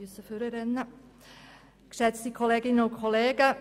Ziffer 2 lehnt die BDP ab.